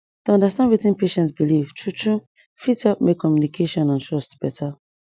to understand wetin patient believe true true fit help make communication and trust beta